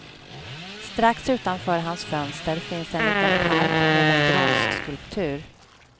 Strax utanför hans fönster finns en liten park med en bronsskulptur.